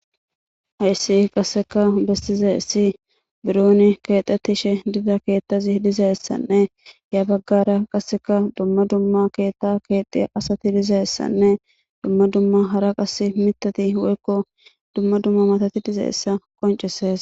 Hayssi qasseka bessizayssi bironi keexethishe diza keethazi dizaysanne ya baggara qaseka dumma dumma keeththaa keexxiya asathi dizayssanne dumma dumma hara qasse miththathi woykko dumma dumma maathathi dizayssa qonccissees.